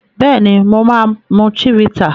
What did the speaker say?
Béèni mọ má mú Chivita